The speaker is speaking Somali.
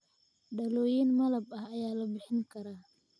Dhalooyin malab ah ayaa la bixin karaa